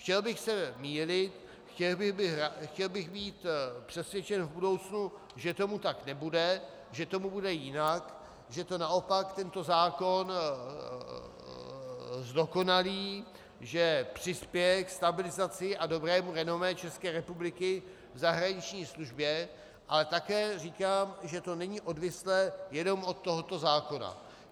Chtěl bych se mýlit, chtěl bych být přesvědčen v budoucnu, že tomu tak nebude, že tomu bude jinak, že to naopak tento zákon zdokonalí, že přispěje ke stabilizaci a dobrému renomé České republiky v zahraniční službě, ale také říkám, že to není odvislé jenom od tohoto zákona.